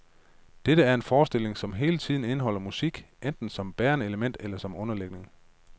Det er en forestilling, som hele tiden indeholder musik, enten som bærende element eller underlægning.